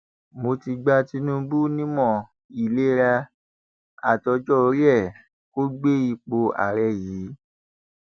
mo ti gba tinubu nímọ ìlera àtọjọorí ẹ kó gbé ipò ààrẹ yìí